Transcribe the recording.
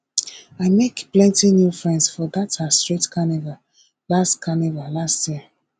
i make plenty new friends for dat our street carnival last carnival last year